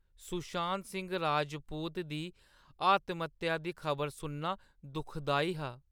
सुशांत सिंह राजपूत दी आत्महत्या दी खबर सुनना दुखदाई हा।